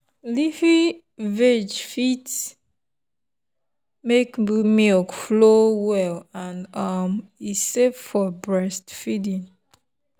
leafy veg fit make milk flow well and um e safe for breastfeeding.